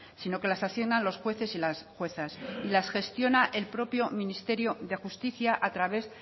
sino que las asignas los jueces y las juezas y la gestiona el propio ministerio de justicia a través